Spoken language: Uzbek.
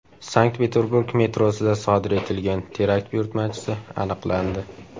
Sankt-Peterburg metrosida sodir etilgan terakt buyurtmachisi aniqlandi.